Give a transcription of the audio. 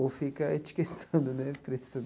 ou fica etiquetando né o preço.